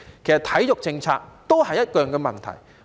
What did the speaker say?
其實體育政策都有一樣的問題。